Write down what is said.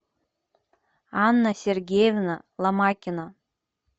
анна сергеевна ломакина